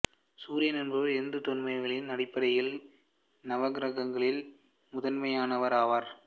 சூரியன் என்பவர் இந்து தொன்மவியலின் அடிப்படையில் நவகிரகங்களில் முதன்மையானவர் ஆவார்